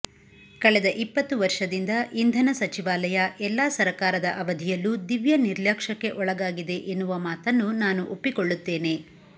ಕಳೆದ ಇಪ್ಪತ್ತು ವರ್ಷದಿಂದ ಇಂಧನ ಸಚಿವಾಲಯ ಎಲ್ಲಾ ಸರಕಾರದ ಅವಧಿಯಲ್ಲೂ ದಿವ್ಯ ನಿರ್ಲ್ಯಕ್ಷಕ್ಕೆ ಒಳಗಾಗಿದೆ ಎನ್ನುವ ಮಾತನ್ನು ನಾನು ಒಪ್ಪಿಕೊಳ್ಳುತ್ತೇನೆ